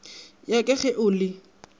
ya ka ge o le